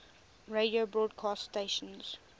radio broadcast stations